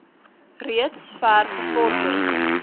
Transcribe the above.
reeds ver gevorder